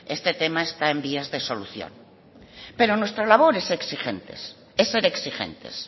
este tema está en vías de solución pero nuestra labor es ser exigentes